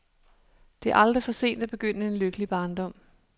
Det er aldrig for sent at begynde en lykkelig barndom.